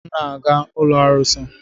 M na-aga ụlọ arụsị.